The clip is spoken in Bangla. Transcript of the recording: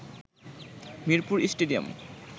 মিরপুর স্টেডিয়াম